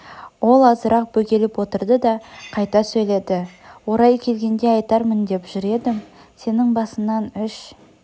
ол азырақ бөгеліп отырды да қайта сөйледі орайы келгенде айтармын деп жүр едім сенің басыңнан үш